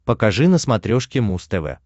покажи на смотрешке муз тв